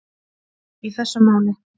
í þessu máli.